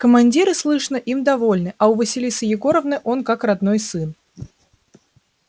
командиры слышно им довольны а у василисы егоровны он как родной сын